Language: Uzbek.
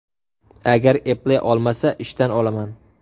Agar eplay olmasa ishdan olaman.